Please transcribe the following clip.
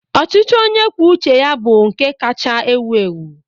Ọchịchị onye kwuo uche ya bụ nke kacha ewu ewu.